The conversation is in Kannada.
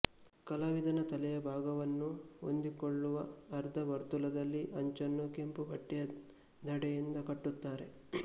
ಕಲಾವಿದನ ತಲೆಯ ಭಾಗವನ್ನು ಹೊಂದಿಕೊಳ್ಳುವ ಅರ್ಧ ವರ್ತುಲದಲ್ಲಿ ಅಂಚನ್ನು ಕೆಂಪು ಬಟ್ಟೆಯ ದಂಡೆಯಿಂದ ಕಟ್ಟುತ್ತಾರೆ